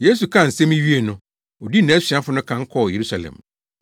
Yesu kaa nsɛm yi wiee no, odii nʼasuafo no kan kɔɔ Yerusalem.